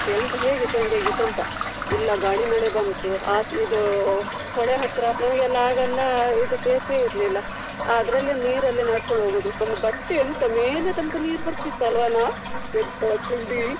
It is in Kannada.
ಎಂತ ಹೇಗೆ ಚಂಡಿ ಆಗಿತ್ತು ಅಂತ. ಇಲ್ಲ ಗಾಳಿ ಮಳೆ ಬಂತು ಇದು ಹೊಳೆ ಹತ್ರ ನಮಗೆ ಆಗನ್ನ ಇದು ಸೇತುವೆ ಇರ್ಲಿಲ್ಲ. ಅದ್ರಲ್ಲಿ ನೀರಲ್ಲಿ ನಡ್ಕೊಂಡ್ ಹೋಗುದು ಒಂದು ಬಟ್ಟೆ ಎಂತಾ ಮೇಲೆ ತನಕ ನೀರು ಬರ್ತಿತ್ತು ಅಲ್ವಾನಾ ಎಂಥ ಚೆಂಡಿ.